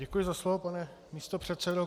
Děkuji za slovo, pane místopředsedo.